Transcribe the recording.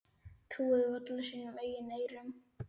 Trúðu varla sínum eigin eyrum.